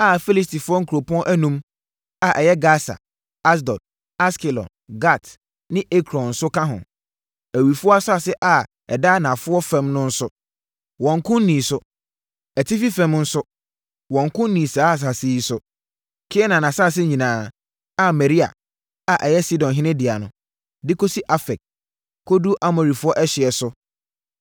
a Filistifoɔ nkuropɔn enum a ɛyɛ Gasa, Asdod, Askelon, Gat ne Ekron nso ka ho. Awifoɔ asase a ɛda anafoɔ fam no nso, wɔnnko nnii so. Atifi fam nso, wɔnnko nnii saa nsase yi so; Kanaan asase nyinaa a Meara a ɛyɛ Sidonfoɔ dea no, de kɔsi Afek, kɔduru Amorifoɔ ɛhyeɛ so